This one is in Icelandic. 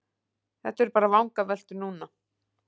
Þetta eru bara vangaveltur núna.